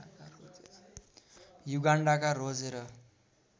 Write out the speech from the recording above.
युगान्डाका रोजेर